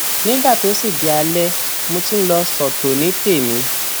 nígbà tó sì di alẹ mo tún lọ sọtò ní tèmi